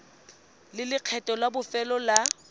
le lekgetho la bofelo la